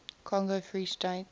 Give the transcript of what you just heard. congo free state